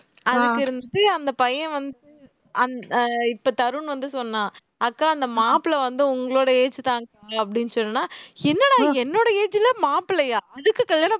அதுக்கிருந்துட்டு அந்த பையன் இப்ப தருண் வந்து சொன்னான் அக்கா அந்த மாப்பிளை வந்து உங்களோட age தான்கா அப்படின்னு சொல்லலாம் என்னடா இது என்னோட age ல மாப்பிள்ளையா அதுக்கு கல்யாணம்